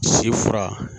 Si fura